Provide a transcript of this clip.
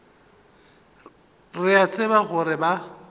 re a tseba gore ba